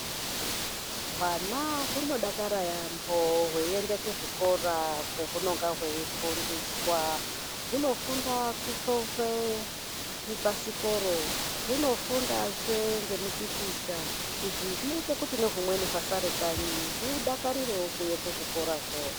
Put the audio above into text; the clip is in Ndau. Hwana hunodakara yaambo hweiende kuzvikora kwahunonga hweifundiswa. Hunofunda kuchovhe zvibhasikoro, hunofundazve ngemipikicha. Izvi zvinoita kuti nehumweni hwasare kanyi hudakarirewo kuuya kuzvikorazvo.